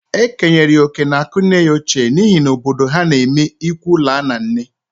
E kenyere ya oke n'akụ nne ya ochie n'ihi na obodo ha n'eme ịkwụ laa na nne.